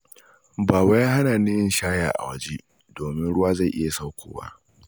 Baba ya hana ni yin shaya a waje, domin ruwa zai iya sakkowa.